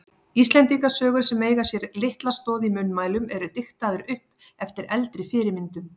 Íslendingasögur sem eiga sér litla stoð í munnmælum eru diktaðar upp eftir eldri fyrirmyndum.